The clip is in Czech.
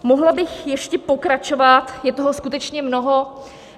Mohla bych ještě pokračovat, je toho skutečně mnoho.